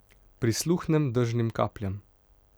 Prisluhnem dežnim kapljam.